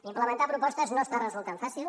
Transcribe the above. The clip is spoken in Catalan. implementar propostes no està resultant fàcil